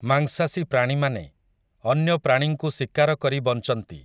ମାଂସାଶୀ ପ୍ରାଣୀମାନେ, ଅନ୍ୟ ପ୍ରାଣୀଙ୍କୁ ଶିକାର କରି ବଞ୍ଚନ୍ତି ।